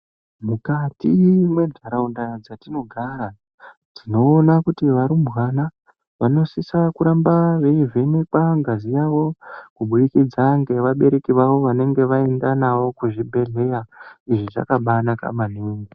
Mukati mwentaraunda dzatinogara tinoona kuti varumbwana vanosisa kuramba veivhenekwa ngazi yavo kuburikidza ngevabereki vavo vanenge vaenda navo kuzvibhehleya. Izvi zvaka bainaka maningi.